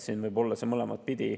See võib olla mõlemat pidi.